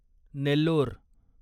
Nellore